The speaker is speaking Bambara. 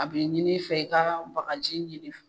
A be ɲin'i fɛ i ka bagaji ɲini f